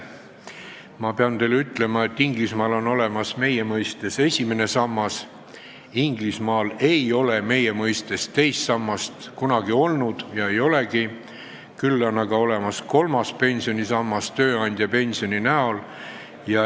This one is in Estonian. Ma pean teile ütlema, et Inglismaal on olemas meie mõistes esimene sammas, meie mõistes teist sammast ei ole Inglismaal kunagi olnud ega olegi, küll on aga olemas kolmas pensionisammas tööandjapensioni kujul.